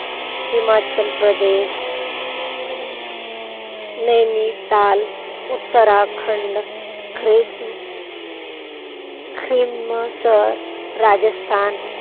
हिमाचल प्रदेश, नैनिताल, उत्तराखंड, ख्रिसम खिमसर राजस्थान,